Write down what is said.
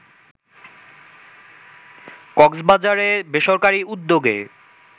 কক্সবাজারে বেসরকারি উদ্যোগে